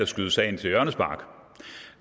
skyde sagen til hjørnespark